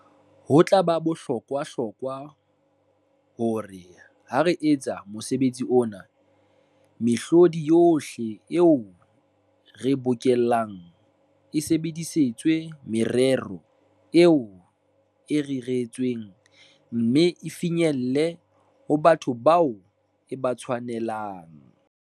"Ho tla ba bohlokwahlokwa, hore ha re etsa mosebetsi ona, mehlodi yohle eo re e bokellang e sebedisetswe merero eo e reretsweng, mme e finyelle ho batho bao e ba tshwanelang."